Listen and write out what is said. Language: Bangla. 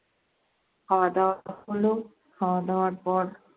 খাওয়া দাওয়া হলো। খাওয়া দাওয়ার পর